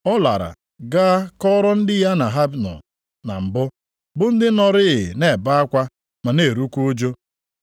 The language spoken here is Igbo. Ọ lara gaa kọrọ ndị ya na ha na-anọ na mbụ, bụ ndị nọrịị na-ebe akwa ma na-erukwa ụjụ.